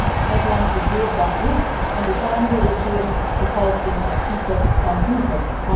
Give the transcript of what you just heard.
Kortom, het land is weer bankroet en de ZANU regering vervalt in repressietactieken van vroeger.